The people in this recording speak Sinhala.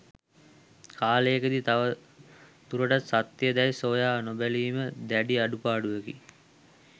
කාලයක දී තව දුරටත් සත්‍යය දැයි සොයා නොබැලීම දැඩි අඩුපාඩුවකි